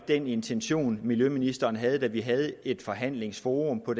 den intention miljøministeren havde da vi havde et forhandlingsforum på